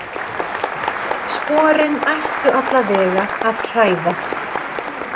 Sporin ættu allavega að hræða.